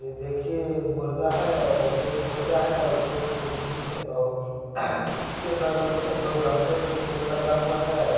ये देखिये मुर्गा है और एक मुर्गा है और दो मुर्गी है और इसके बगल में दो गमले में फुल लगा हुआ है। और--